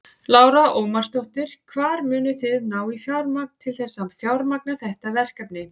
Lára Ómarsdóttir: Hvar munið þið ná í fjármagn til þess að fjármagna þessi verkefni?